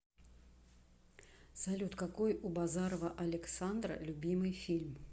салют какой у базарова александра любимый фильм